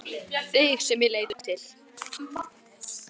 Þig sem ég leit upp til.